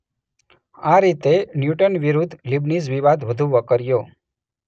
આ રીતે ન્યૂટન વિરૂદ્ધ લીબનીઝ વિવાદ વધુ વકર્યો